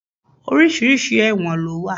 Oríṣiríṣi ẹ̀wọ̀n ló wà.